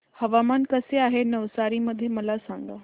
हवामान कसे आहे नवसारी मध्ये मला सांगा